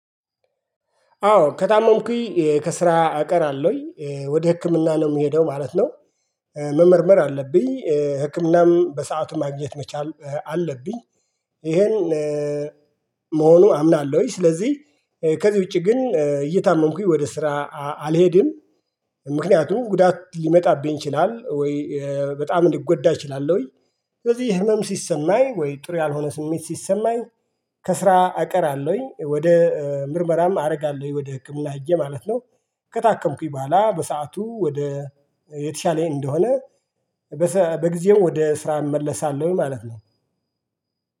አዎ ከታመምኩኝ ከስራ እቀራለሁኝ ወደ ህክምና ነው የምሄደው ማለት ነው። መመርመር አለብኝ ህክምናም በሰአቱ ማግኘት መቻል አለብኝ። ይሄን አምናለሁኝ። ስለዚህ ከዚህ ውጪ ግን እየታመምኩኝ ወደ ስራ አልሄድም። ምክንያቱም ጉዳት ሊመጣብኝ ይችላል ወይ በጣም ሊጎዳ አችላለሁኝ። ስለዚህ ህመም ሲሰማኝ ወይ ጥሩ ያልሆነ ስሜት ሲሰማኝ። ከስራ አቀራለሁኝ ወደ ምርመራም አደርጋለሁኝ ወደ ህክምና ሄጄ ማለት ነው። ከታከምኩኝ በኋላ በሰአቱ ወደ የተሻለኝ እንደሆነ። በጊዜው ወደ ስራ እመለሳለሁኝ ማለት ነው።